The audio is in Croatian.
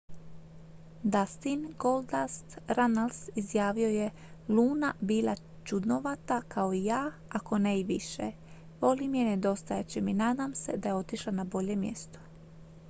"dustin "goldust" runnells izjavio je "luna bila čudnovata kao i ja ako ne i više... volim je i nedostajat će mi... nadam se da je otišla na bolje mjesto.""